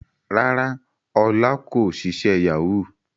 Rárá Ọlá kò ṣiṣẹ́ Yahoo